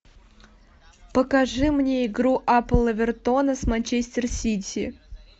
покажи мне игру апл эвертона с манчестер сити